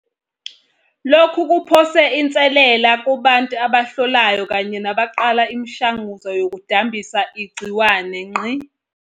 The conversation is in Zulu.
Lokhu kuphose inselele kubantu abahlolayo kanye nabaqala imishanguzo yokudambisa igciwane.